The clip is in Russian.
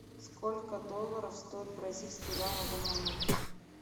сколько долларов стоит бразильский реал на данный момент